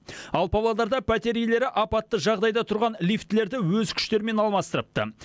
ал павлодарда пәтер иелері апатты жағдайда тұрған лифтілерді өз күштерімен алмастырыпты